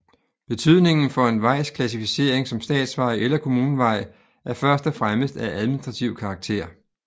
Betydningen for en vejs klassificering som statsvej eller kommunevej er først og fremmest af administrativ karakter